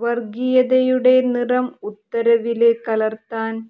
വര്ഗീയതയുടെ നിറം ഉത്തരവില് കലര്ത്താന്